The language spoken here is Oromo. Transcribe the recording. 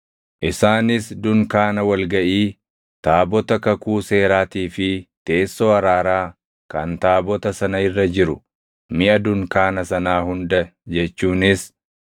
“Isaanis dunkaana wal gaʼii, taabota kakuu seeraatii fi teessoo araaraa kan taabota sana irra jiru, miʼa dunkaana sanaa hunda jechuunis